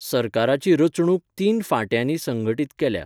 सरकाराची रचणूक तीन फांट्यांनी संघटीत केल्या